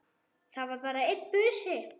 Það var bara einn busi!